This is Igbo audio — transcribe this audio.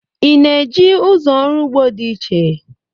ị na-eji ụzọ ọrụ ugbo dị iche?